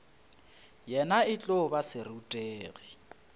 yena e tlo ba serutegi